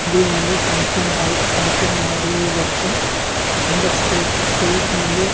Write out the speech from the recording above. ಇದು ಒಂದು function hall function ಮಾಡುವುದಕ್ಕೆ ಇಂದ ಸ್ಟೇಜ್ ಸ್ಟೇಜ್ ನಲ್ಲಿ.